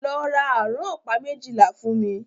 Lọ ra àrán ọ̀pá méjìlá fún mí!